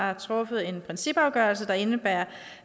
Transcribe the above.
har truffet en principafgørelse der indebærer